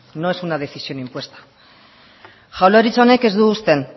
no es una decisión impuesta jaurlaritza honek ez du uste